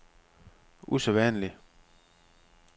usædvanlig